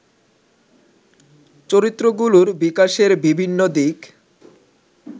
চরিত্রগুলোর বিকাশের বিভিন্ন দিক